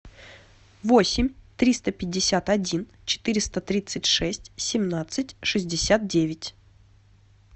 восемь триста пятьдесят один четыреста тридцать шесть семнадцать шестьдесят девять